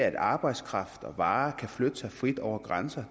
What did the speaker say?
at arbejdskraft og varer kan flytte sig frit over grænser